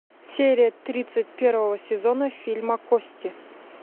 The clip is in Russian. серия тридцать первого сезона фильма кости